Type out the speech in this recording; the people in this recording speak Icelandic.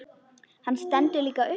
Hann stendur líka upp.